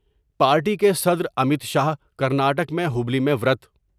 party کے صدر Amit Shah Karnataka میں ہبلّی میں ورت